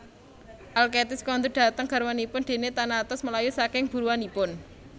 Alkestis kondur dhateng garwanipun déné Thanatos mlayu saking buruanipun